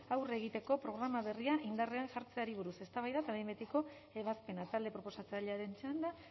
aurre egiteko programa berria indarrean jartzeari buruz eztabaida eta behin betiko ebazpena talde proposatzailearen txanda